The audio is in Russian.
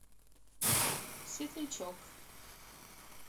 светлячок